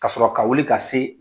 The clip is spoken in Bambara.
Ka sɔrɔ ka wuli ka se